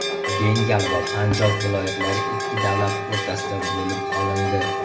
Bengal va Panjob viloyatlari ikki davlat o‘rtasida bo‘lib olindi.